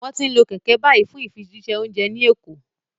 Wọ́n ti ń lo kẹ̀kẹ́ báyìí fún ìfijíṣẹ́ oúnjẹ ní Èkó